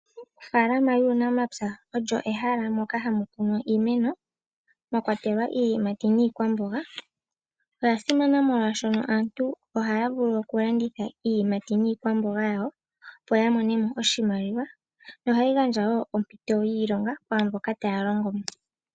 Ofaalama yuunamapya olyo ehala moka hamu kunwa iimeno mwa kwatelwa iiyimati niikwamboga. Oya simana molwaashono aantu ohaya vulu oku landitha iiyimati niikwamboga yawo, opo ya mone mo oshimaliwa, nohayi gandja wo ompito yiilonga kwaamboka taya longo mo.